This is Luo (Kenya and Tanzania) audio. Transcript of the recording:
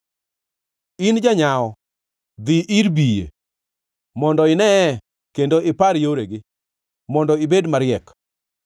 In janyawo, dhi ir biye; mondo ineye kendo ipar yoregi, mondo ibed mariek!